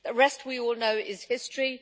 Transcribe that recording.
The rest, we all know, is history.